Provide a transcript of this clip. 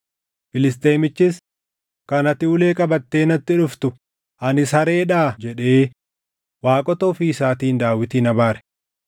Filisxeemichis, “Kan ati ulee qabattee natti dhuftu ani sareedhaa?” jedhee waaqota ofii isaatiin Daawitin abaare.